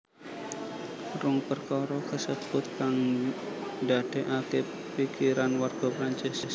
Rong perkara kasebut kang ndadekake pikiran warga Prancis